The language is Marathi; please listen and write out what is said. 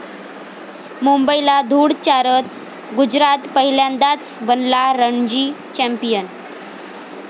मुंबईला धुळ चारत गुजरात पहिल्यांदाच बनला रणजी चॅम्पियन